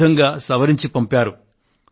ఈ విధంగా సవరించి పంపారు